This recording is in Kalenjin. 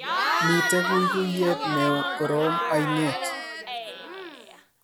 Mitei guiguiyet ne korom oinet